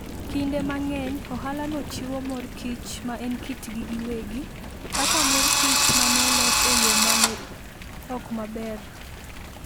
Kinde mang'eny, ohalano chiwo mor kich ma en kitgi giwegi, kaka mor kich ma ne olos e yo ma ne ok maber